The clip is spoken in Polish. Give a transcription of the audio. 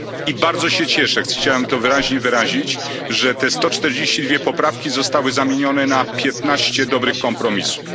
i bardzo się cieszę, chciałem to wyraźnie powiedzieć, że te 142 poprawki zostały zamienione na 15 dobrych kompromisów.